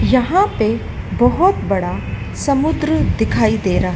यहां पे बहोत बड़ा समुद्र दिखाई दे रहा--